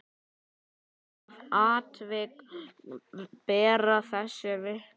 Mörg atvik bera þess vitni.